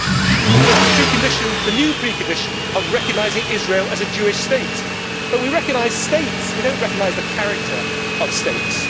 Then there is the new precondition of recognising Israel as a Jewish state well we recognise states, but we do not recognise the character of states.